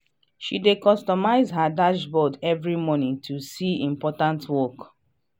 she dey customize her dashboard every morning to see important work.